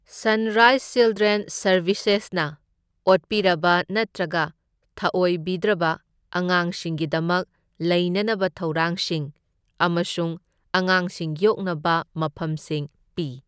Sunrise ꯆꯤꯜꯗ꯭ꯔꯦꯟꯁ ꯁꯔꯕꯤꯁꯦꯁꯅ ꯑꯣꯠꯄꯤꯔꯕ ꯅꯠꯇ꯭ꯔꯒ ꯊꯑꯣꯏꯕꯤꯗ꯭ꯔꯕ ꯑꯉꯥꯡꯁꯤꯡꯒꯤꯗꯃꯛ ꯂꯩꯅꯅꯕ ꯊꯧꯔꯥꯡꯁꯤꯡ ꯑꯃꯁꯨꯡ ꯑꯉꯥꯡꯁꯤꯡ ꯌꯣꯛꯅꯕ ꯃꯐꯝꯁꯤꯡ ꯄꯤ꯫